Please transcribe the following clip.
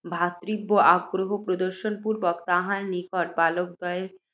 ভ্রাতৃব্য আগ্রহ প্রদর্শন পূর্ব্বক তাঁহার নিকট বালকদ্বয়ের